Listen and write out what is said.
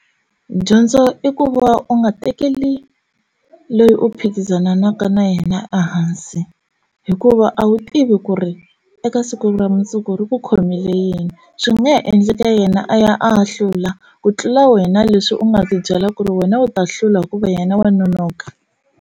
Dyondzo i ku va u nga tekeli leyi u phikizanaka na yena ehansi hikuva a wu tivi ku ri eka siku ra mundzuku ri ku khomile yini swi nga ha endleka yena a ya a ya hlula ku tlula wena leswi u nga ti byela ku ri wena u ta hlula hikuva yena wa nonoka.